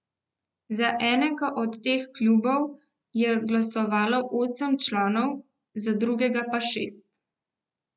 Za enega od teh klubov je glasovalo osem članov, za drugega pa šest.